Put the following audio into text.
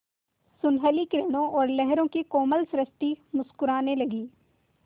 सुनहली किरणों और लहरों की कोमल सृष्टि मुस्कराने लगी